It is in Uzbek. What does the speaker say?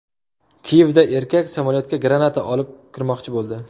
Kiyevda erkak samolyotga granata olib kirmoqchi bo‘ldi.